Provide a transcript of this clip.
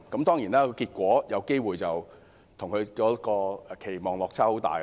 當然，結果有機會與她的期望有很大落差。